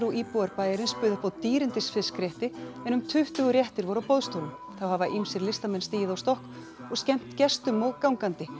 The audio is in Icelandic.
íbúar bæjarins buðu upp á dýrindis fiskrétti en um tuttugu réttir voru á boðstólum þá hafa ýmsir listamenn stigið á stokk og skemmt gestum og gangandi